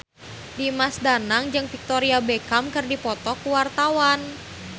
Dimas Danang jeung Victoria Beckham keur dipoto ku wartawan